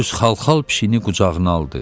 Öz xalxal pişiyini qucağına aldı.